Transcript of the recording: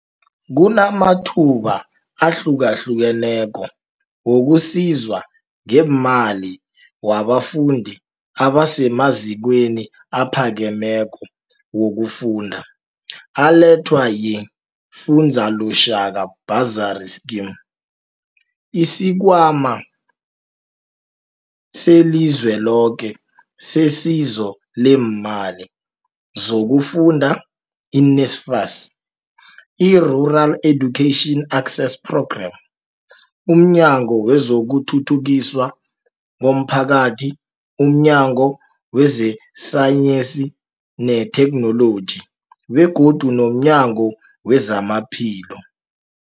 Kunamathuba ahlukahlukeneko wokusizwa ngeemali wabafundi abasemazikweni aphakemeko wokufunda, alethwa yi-Funza Lushaka Bursary Scheme, isiKhwama seliZweloke seSizo leeMali zokuFunda, i-NSFAS, I-Rural Education Access Programme, umNyango wezokuThuthukiswa komPhakathi, umNyango wezeSayensi neThekhnoloji begodu nomNyango wezamaPhilo.